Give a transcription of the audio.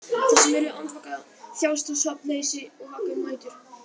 Þeir sem eru andvaka þjást af svefnleysi og vaka um nætur.